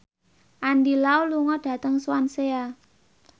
Andy Lau lunga dhateng Swansea